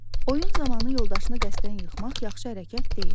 Oyun zamanı yoldaşını qəsdən yıxmaq yaxşı hərəkət deyil.